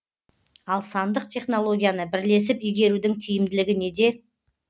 ал сандық технологияны бірлесіп игерудің тиімділігі неде